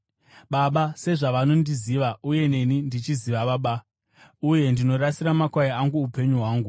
Baba sezvavanondiziva uye neni ndichiziva Baba, uye ndinorasira makwai angu upenyu hwangu.